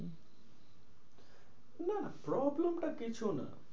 নাহ problem টা কিছু না।